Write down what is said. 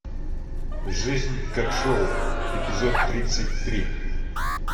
жизнь как шоу эпизод тридцать три